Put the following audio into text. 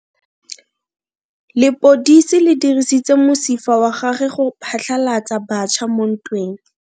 Lepodisa le dirisitse mosifa wa gagwe go phatlalatsa batšha mo ntweng.